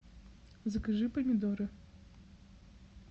закажи помидоры